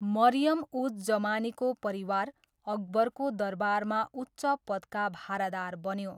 मरियम उज जमानीको परिवार, अकबरको दरबारमा उच्च पदका भारादार बन्यो।